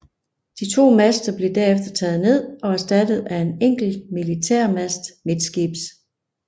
De to master blev derfor taget ned og erstattet af en enkelt militærmast midtskibs